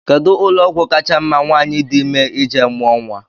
Kedụ ụlọọgwụ kacha mma nwaanyị di ime ije mụọ nnwa?